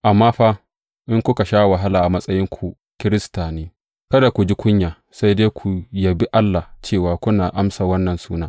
Amma fa, in kuka sha wahala a matsayin ku Kirista ne, kada ku ji kunya, sai dai ku yabi Allah cewa kuna amsa wannan suna.